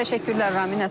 Təşəkkürlər Ramin.